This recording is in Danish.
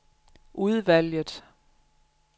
udvalget